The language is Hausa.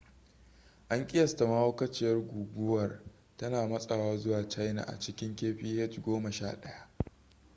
an kiyasta mahaukaciyar guguwar tana matsawa zuwa china a cikin kph goma sha ɗaya